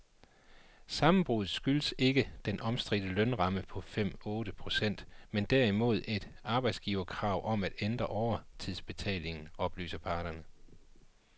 Sammenbruddet skyldes ikke den omstridte lønramme på fem ,otte procent men derimod et arbejdsgiverkrav om at ændre overtidsbetalingen, oplyser parterne.